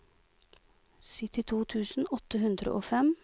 syttito tusen åtte hundre og fem